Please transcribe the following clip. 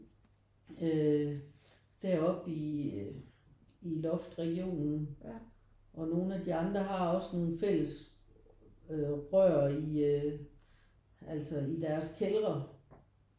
Øh deroppe i i loftregionen og nogen af de andre har også nogle fælles øh rør i øh altså i deres kældre